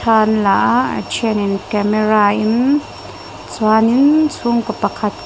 thla an la a a then in camera in chuanin chhungkaw pakhat --